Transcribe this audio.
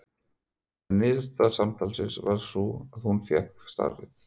En niðurstaða samtalsins varð sú að hún fékk starfið.